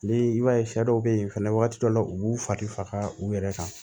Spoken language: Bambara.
Ni i b'a ye sɛ dɔw be ye fɛnɛ wagati dɔw la u b'u fari faga u yɛrɛ kan